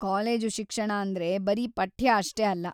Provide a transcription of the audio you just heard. College ಶಿಕ್ಷಣ ಅಂದ್ರೆ ಬರೀ ಪಠ್ಯ ಅಷ್ಟೇ ಅಲ್ಲ.